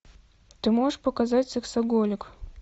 ты можешь показать сексоголик